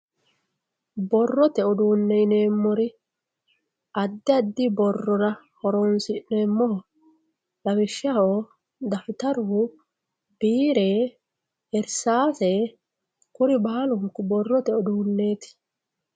borrote uduunne yineemmori addi addi borrora horoonsi'neemmohu lawishshaho dafitaru biire irsaase kuri baalunku borrote uduunneeti.